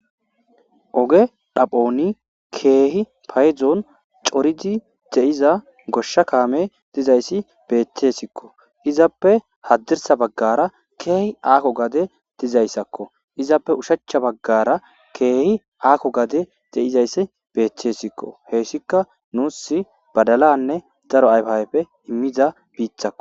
oge dhaphoni keehi payzon coridi de7iza goshsha kaame dizayssi beeththessikko izappe haddirsa baggara keehi aako gade dizayssakko izappe ushachcha baggara keehi aakko gade de7izayssi beeththessikko heyssika nuus badalanne daro ayfaayfe immiza biithakko